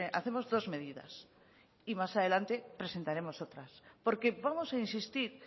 hacemos dos medidas y más adelante presentaremos otras porque vamos a insistir